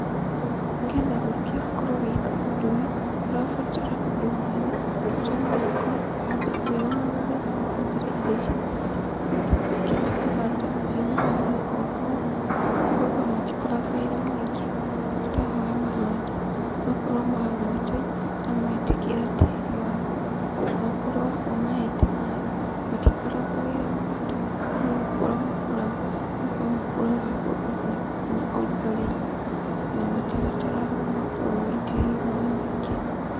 Nĩgetha wĩke, ũkorwo ũgĩka ũndũ ũyũ, ndũrabatara ũndũ mũnene, bata noũkorwo wĩ na mũgũnda ũhandĩte indo ici, ũkĩenda kũhanda ũrĩmi ũyũ wa makongo, makongo matikoragwo wĩra mũingĩ, bata nĩwamahanda, makorwo magwata, nametĩkĩra tĩri waku, na ũkorwo ũmahete maaĩ, matikoragwo wĩra mũritũ, nogũkũra makũraga, nĩgũkorwo makũraga kũndũ ona nginya ũrugarĩ-inĩ na matibataraga makorwo magĩitĩrĩrio maaĩ maingĩ.